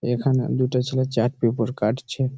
এখানে দুটো ছেলে চার্ট পেপার কাটছে।